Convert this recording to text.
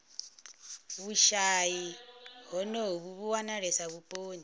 vhushayi honovhu vhu wanalesa vhuponi